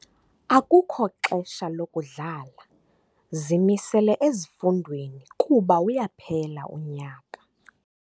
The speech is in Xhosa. Akukho xesha lokudlala, zimisele ezifundweni kuba uyaphela unyaka.